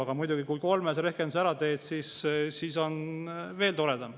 Aga muidugi, kui kolmese rehkenduse ära teed, siis on veel toredam.